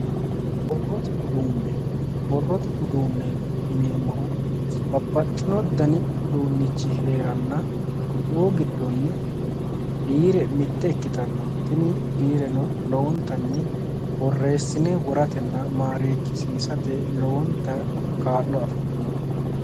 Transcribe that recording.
Borrote uduunne, borrote uduunneeti yineemmohu babbaxxino dani uduunnichi hee'ranna kuriu giddonni biire mitte ikkitanno tini biireno lowontanni borreessine woratenna marekkisiisate lowo kaa'lo afi'dhinote.